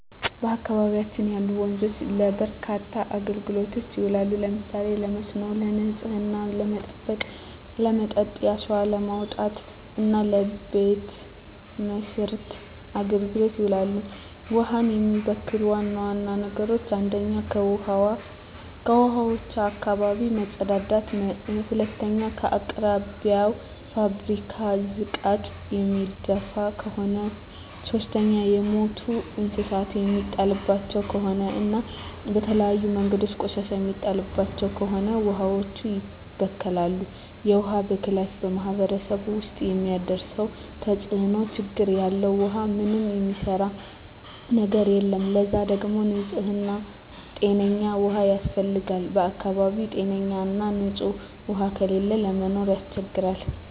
በአካባቢያችን ያሉ ወንዞች ለበርካታ አገልግሎቶች ይውላሉ። ለምሳሌ ለመስኖ፣ ንጽህናን ለመጠበቅ፣ ለመጠጥ፣ አሸዋ ለማውጣት እና ለበቤት መሥርያ አገልግሎት ይውላሉ። ውሀን የሚበክሉ ዋና ዋና ነገሮች 1ኛ ከውሀዋች አካባቢ መጸዳዳት መጸዳዳት 2ኛ በአቅራቢያው የፋብሪካ ዝቃጭ የሚደፍ ከሆነ ከሆነ 3ኛ የሞቱ እንስሳት የሚጣልባቸው ከሆነ እና በተለያዩ መንገዶች ቆሻሻ የሚጣልባቸው ከሆነ ውሀዋች ይበከላሉ። የውሀ ብክለት በማህረሰቡ ውስጥ የሚያደርሰው ተጽዕኖ (ችግር) ያለ ውሃ ምንም የሚሰራ ነገር የለም ለዛ ደግሞ ንጽህና ጤነኛ ውሃ ያስፈልጋል በአካባቢው ጤነኛ ና ንጽህ ውሃ ከሌለ ለመኖር ያስቸግራል።